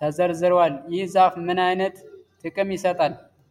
ተዘርግተዋል። ይህ ዛፍ ምን ዓይነት ጥቅም ይሰጣል?